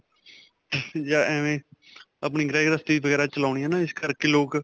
ਜਾਂ ਅਵੇ ਆਪਣੀ ਘ੍ਰ੍ਸਤੀ ਵਗੈਰਾ ਚਲਾਉਣੀ ਹੈ ਨਾ. ਇਸ ਕਰਕੇ ਲੋਕ.